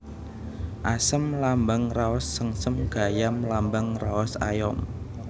Asem lambang raos sengsem Gayam lambang raos ayom